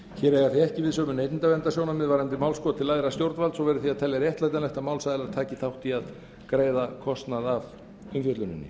hér eiga því ekki við sömu neytendaverndarsjónarmið varðandi málskot til æðra stjórnvalds og verður því að telja réttlætanlegt að málsaðilar taki þátt í að greiða kostnað af umfjölluninni